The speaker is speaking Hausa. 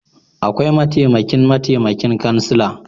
Aƙwai mataimaƙin mataimaƙin ƙansila